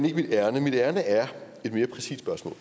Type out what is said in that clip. ikke mit ærinde mit ærinde er et mere præcist spørgsmål